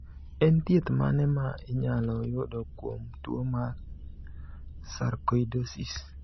En thieth mane ma inyalo yudo kuom tuo mar sarkoidosis?